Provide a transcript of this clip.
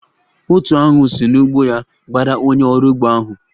Otu aṅu si n'ugbo ya gbara onye orụ ugbo ahụ